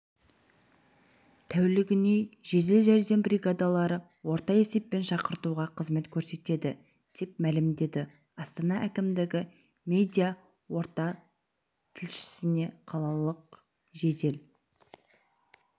тәулігіне жедел жәрдем бригадалары орта есеппен шақыртуға қызмет көрсетеді деп мәлімдеді астана әкімдігі медиа-орталықтілшісіне қалалық жедел